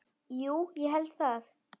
Jú ég held það.